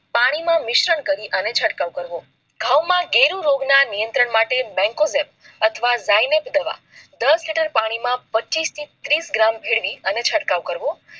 પાણી માં મિશ્રણ કરી ચટકાવ કરવો ઘઉં ના ગેરુ રોન્ગ ના નિયંત્રણ માટે બેકઓવર અથવા ગાય નેક દવા દસ લીટર પાણી માં પચીસ થી તીસ ગ્રામ ભેળવી ચટકાવ કરવો